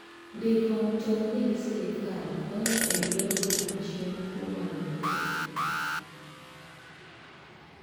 Ndiko mtokni gi sirkal konyo e yor duoko chien kuo mag geche.